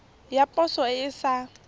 ya poso e e sa